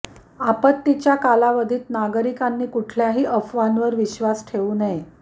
आपत्तीच्या कालावधीत नागरिकांनी कुठल्याही अफवांवर विश्वास ठेवू नये